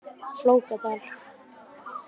Flókadal